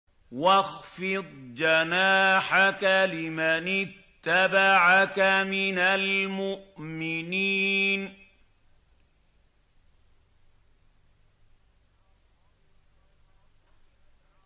وَاخْفِضْ جَنَاحَكَ لِمَنِ اتَّبَعَكَ مِنَ الْمُؤْمِنِينَ